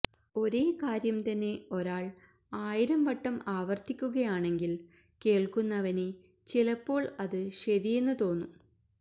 ഒരേ കാര്യം തന്നെ ഒരാള് ആയിരം വട്ടം ആവര്ത്തിക്കുകയാണെങ്കില് കേള്ക്കുന്നവന് ചിലപ്പോള് അത് ശരിയെന്ന് തോന്നും